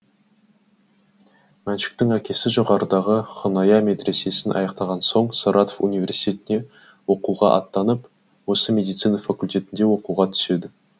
мәншүктің әкесі жоғарыдағы хұсайня медресесін аяқтаған соң саратов университетіне оқуға аттанып осындағы медицина факультетіне оқуға түседі